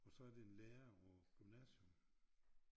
Og så er det en lærer på gymnasium